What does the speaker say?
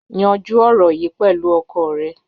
Yanjú ọ̀rọ̀ yìí pẹ̀lú ọkọ rẹ.